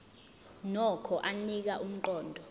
nokho anika umqondo